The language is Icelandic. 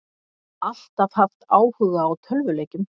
Alltaf haft áhuga á tölvuleikjum